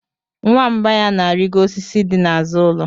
Nwamba ya na-arịgo osisi dị n'azụ ụlọ.